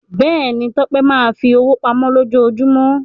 Bẹ́ẹ̀ ni, Tọ́pẹ́ máa ń fi owó pamọ́ lójoojúmọ́.